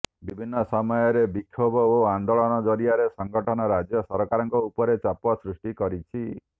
ବିଭିନ୍ନ ସମୟରେ ବିକ୍ଷୋଭ ଓ ଆନ୍ଦୋଳନ ଜରିଆରେ ସଂଗଠନ ରାଜ୍ୟ ସରକାରଙ୍କ ଉପରେ ଚାପ ସୃଷ୍ଟି କରିଛି